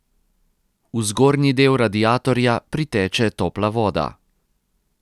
V zgornji del radiatorja priteče topla voda.